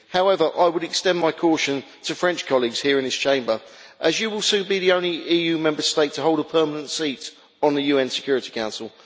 However, I would like to extend my caution to French colleagues here in this Chamber, as you will soon be the only EU Member State to hold a permanent seat on the UN Security Council.